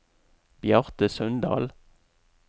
Bjarte Sundal